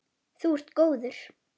Þú ert góður.